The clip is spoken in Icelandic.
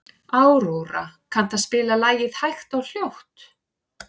Aurora, kanntu að spila lagið „Hægt og hljótt“?